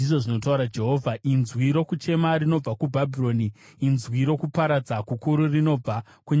“Inzwi rokuchema rinobva kuBhabhironi, inzwi rokuparadza kukuru rinobva kunyika yavaBhabhironi.